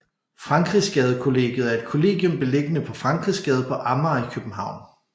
Frankrigsgade Kollegiet er et kollegium beliggende på Frankrigsgade på Amager i København